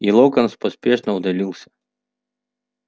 и локонс поспешно удалился